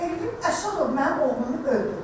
Elvin Əsədov mənim oğlumu öldürdü.